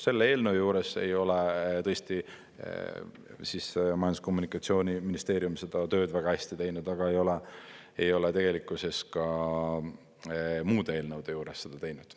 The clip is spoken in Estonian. Selle eelnõu juures ei ole tõesti Majandus- ja Kommunikatsiooniministeerium seda tööd väga hästi teinud, aga ei ole tegelikkuses ka muude eelnõude juures seda teinud.